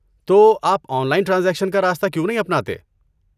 تو، آپ online transaction کا راستہ کیوں نہیں اپناتے؟